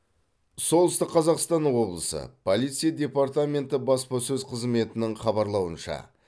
солтүстік қазақстан облысы полиция департаменті баспасөз қызметінің хабарлауынша